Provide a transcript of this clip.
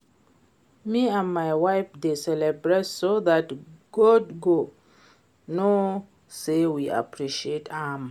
Me and my wife dey celebrate so dat God go know say we appreciate am